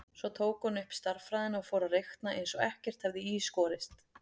Svo tók hún upp stærðfræðina og fór að reikna eins og ekkert hefði í skorist.